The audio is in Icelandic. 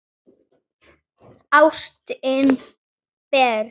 Ástin deyr.